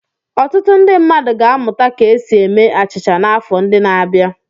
Ọtụtụ ndị mmadụ ga-amụta ka esi eme achịcha n'afọ ndị na-abịa.